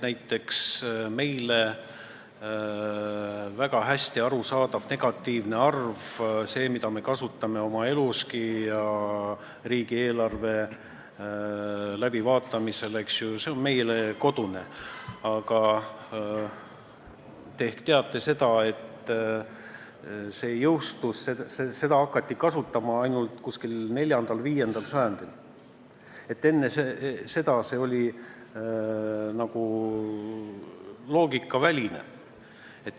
Meile väga hästi arusaadav negatiivne arv, see, mida me kasutame oma eluski ja riigieelarve läbivaatamisel, tundub meile kodusena, aga te ehk teate, et seda hakati kasutama alles 4.–5. sajandil, enne seda oli see nagu loogikaväline.